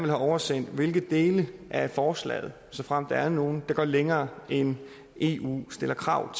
have oversendt hvilke dele af forslaget såfremt der er nogle der går længere end eu stiller krav